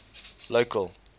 local